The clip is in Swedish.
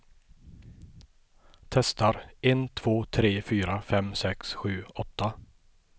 Testar en två tre fyra fem sex sju åtta.